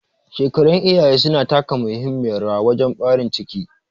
Shekarun iyaye suna taka muhimmiyar rawa wajen ɓarin ciki